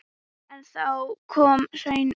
En þá kom hrunið.